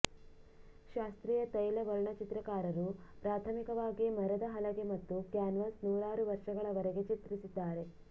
ಶಾಸ್ತ್ರೀಯ ತೈಲ ವರ್ಣಚಿತ್ರಕಾರರು ಪ್ರಾಥಮಿಕವಾಗಿ ಮರದ ಹಲಗೆ ಮತ್ತು ಕ್ಯಾನ್ವಾಸ್ ನೂರಾರು ವರ್ಷಗಳವರೆಗೆ ಚಿತ್ರಿಸಿದ್ದಾರೆ